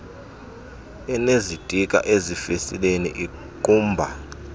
enezitikha ezifestileni iingqumba